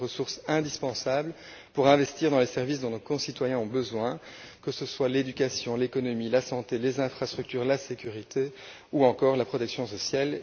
Ce sont des ressources indispensables pour investir dans les services dont nos concitoyens ont besoin, que ce soient l'éducation, l'économie, la santé, les infrastructures, la sécurité ou encore la protection sociale.